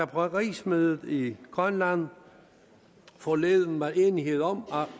på rigsmødet i grønland forleden var enighed om